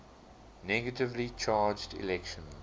negatively charged electrons